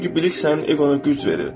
Çünki bilik sənin eqona güc verir.